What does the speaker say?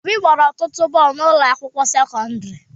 Obi gbara ọtụtụ bọọlụ na ụlọ akwụkwọ sekọndrị